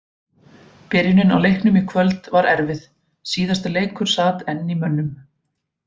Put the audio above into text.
Byrjunin á leiknum í kvöld var erfið, síðasti leikur sat enn í mönnum.